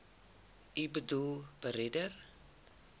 u boedel beredder